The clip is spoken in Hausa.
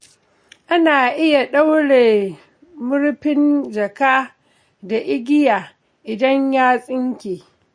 Ana iya ɗaure murfin jaka da igiya idan ya tsinke.